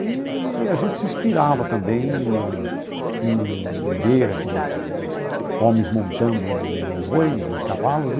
Eee a gente se inspirava também em em ver aqueles homens montando em bois e cavalos.